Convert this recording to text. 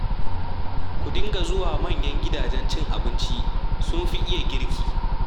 Ku dinga zuwa manyan gidajen cin abinci, sun fi iya girki